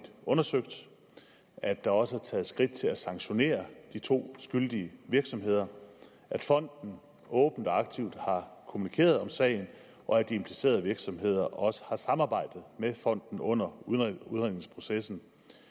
undersøgt at der også er taget skridt til at sanktionere de to skyldige virksomheder at fonden åbent og aktivt har kommunikeret om sagen og at de implicerede virksomheder også har samarbejdet med fonden under udredningsprocessen og